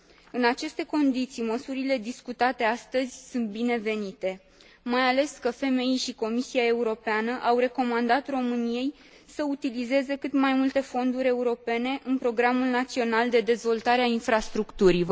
În aceste condiții, măsurile discutate astăzi sunt binevenite, mai ales că FMI și Comisia Europeană au recomandat României să utilizeze cât mai multe fonduri europene în programul național de dezvoltare a infrastructurii.